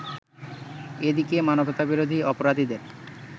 এদিকে মানবতাবিরোধী অপরাধীদের